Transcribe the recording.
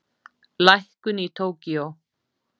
Lækkun í Tókýó